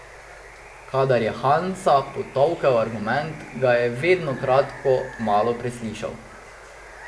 Kadar je Hansa potolkel argument, ga je vedno kratko malo preslišal.